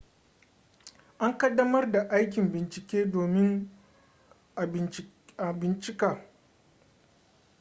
an ƙaddamar da aikin bincike domin a bincika